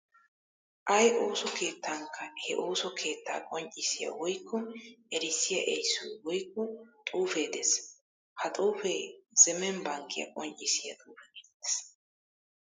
Ay ooso keettankka he ooso keettaa qonccissiya woykko erissiya erissoy woykko xuufee de'ees. Ha xuufee zemen bankkiya qonccissiya xuufe geetettees.